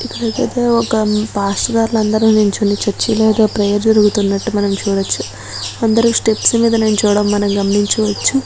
ఇక్కడైతే ఒక పాస్టర్ లందరూ నిల్చొని చర్చిలో ఏదో ప్రేయర్ జరుగుతున్నట్టు మనం చూడొచ్చు. అందరూ స్టెప్స్ మీద నిల్చోవడం మనం గమనించవచ్చు.